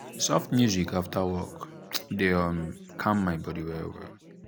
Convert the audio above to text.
soft music after work dey um calm my body well well.